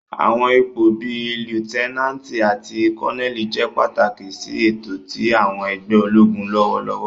Àwọn ipo bii Liutenanti ati Koneli jẹ pataki si eto ti àwọn ẹgbẹ ologun lọwọlọwọ.